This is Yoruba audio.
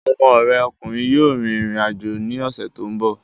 Ọmọ rẹ ọkùnrin yóò rìn rìn àjò ní ọ̀sẹ̀ tó ń bọ̀